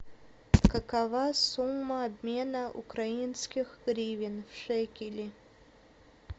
какова сумма обмена украинских гривен в шекели